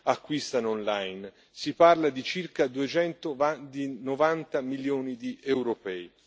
acquistano online, si parla di circa 290 milioni di europei.